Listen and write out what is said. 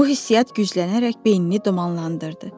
Bu hissiyyat güclənərək beynini dumanlandırdı.